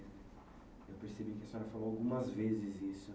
Eu percebi que a senhora falou algumas vezes isso.